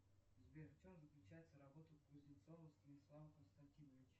сбер в чем заключается работа кузнецова станислава константиновича